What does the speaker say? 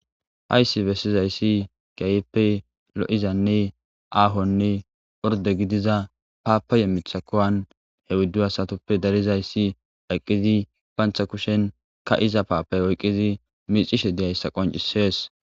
hayssi bessizayssi keehippe lo7izanne aahonne orde gidiza paapaye mitha kuwan he oyddu asatoppe darizayssi eqqidi pantha kushen ka7iza paapay oykkidi micishe de7iiyayssa qoncisees